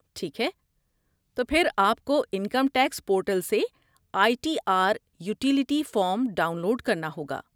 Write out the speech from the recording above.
ٹھیک ہے، تو پھر آپ کو انکم ٹیکس پورٹل سے I T R utility form download کرنا ہوگا۔